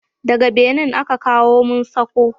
Daga Benin aka kawo mun sako